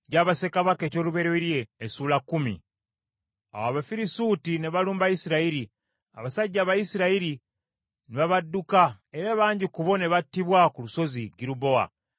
Awo Abafirisuuti ne balumba Isirayiri, abasajja Abayisirayiri ne babadduka era bangi ku bo ne battibwa ku Lusozi Girubowa.